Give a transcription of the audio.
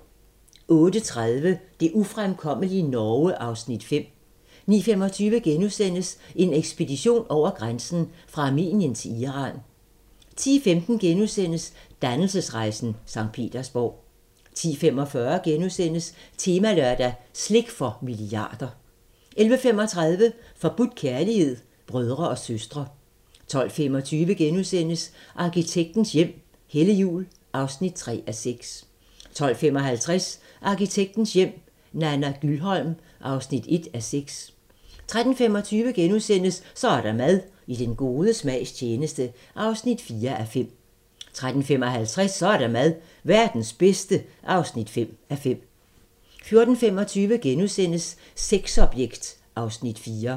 08:30: Det ufremkommelige Norge (Afs. 5) 09:25: En ekspedition over grænsen: Fra Armenien til Iran * 10:15: Dannelsesrejsen - Sankt Petersborg * 10:45: Temalørdag: Slik for milliarder * 11:35: Forbudt kærlighed - brødre og søstre 12:25: Arkitektens hjem - Helle Juul (3:6)* 12:55: Arkitektens hjem - Nana Gyldholm (1:6) 13:25: Så er der mad - i den gode smags tjeneste (4:5)* 13:55: Så er der mad - Verdens bedste (5:5) 14:25: Sexobjekt (Afs. 4)*